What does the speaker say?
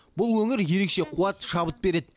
бұл өңір ерекше қуат шабыт береді